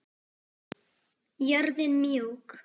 Jörðin mjúk.